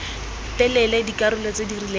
telele dikarolo tse di rileng